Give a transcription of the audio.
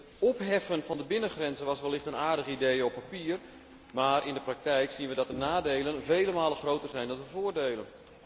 Het opheffen van de binnengrenzen was wellicht een aardig idee op papier, maar in de praktijk zien we dat de nadelen vele malen groter zijn dan de voordelen.